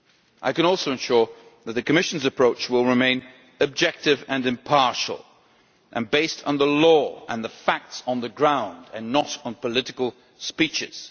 I can also assure you that the Commission's approach will remain objective and impartial, and based on the law and the facts on the ground and not on political speeches.